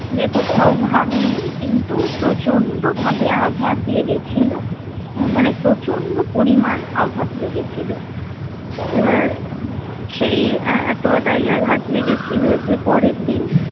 যে কোথাও ভাঙেনি কিন্তু প্রচণ্ড ভাবে আঘাত লেগেছিল মানে প্রচন্ড পরিমাণ আঘাত লেগেছিল এবার সেই এতোটাই আঘাত লেগেছিল যে পরের দিন